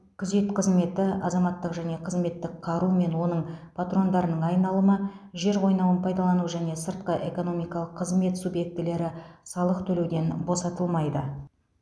күзет қызметі азаматтық және қызметтік қару мен оның патрондарының айналымы жер қойнауын пайдалану және сыртқы экономикалық қызмет субъектілері салық төлеуден босатылмайды